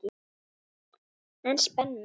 En spennó!